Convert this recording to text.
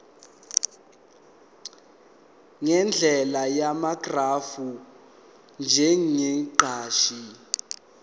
ngendlela yamagrafu njengeshadi